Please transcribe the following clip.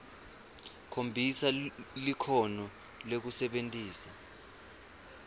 khombisa likhono lekusebentisa